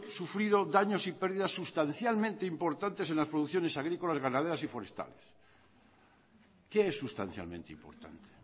sufrido daños y pérdidas sustancialmente importantes en las producciones agrícolas ganaderas y forestales qué es sustancialmente importante